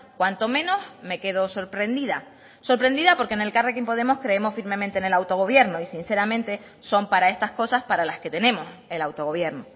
cuanto menos me quedo sorprendida sorprendida porque en elkarrekin podemos creemos firmemente en el autogobierno y sinceramente son para estas cosas para las que tenemos el autogobierno